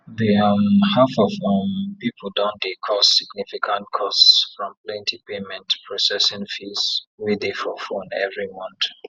the um half of um people don dey cause significant costs from plenty payment processing fees wey dey for phone every month